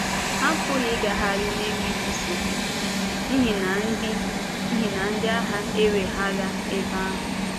Ha apụghị ịgagharị n’enweghị nsogbu, n’ihi na ndị n’ihi na ndị agha weghaara ebe ahụ.